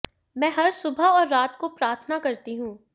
मैं हर सुबह और रात को प्रार्थना करती हूं